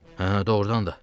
Hə, doğrudan da.